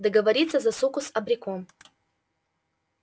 договориться за суку с абреком